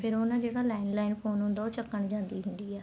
ਫ਼ੇਰ ਉਹ ਨਾ ਜਿਹੜਾ landline phone ਹੁੰਦਾ ਉਹ ਚੱਕਣ ਜਾਂਦੀ ਹੁੰਦੀ ਆ